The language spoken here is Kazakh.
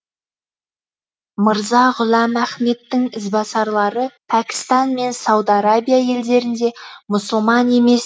мырза ғұләм ахмедтің ізбасарлары пәкістан мен сауд арабия елдерінде мұсылман емес